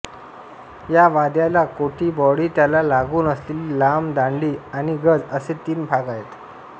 या वाद्याला कोठी बॉडी त्याला लागून असलेली लांब दांडी आणि गज असे तीन भाग आहेत